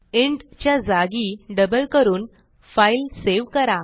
int च्या जागी double करून फाईल सेव्ह करा